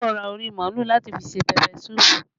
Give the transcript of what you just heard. Iyabọ̀ ra orí màálù láti fi ṣe pẹpẹ suupu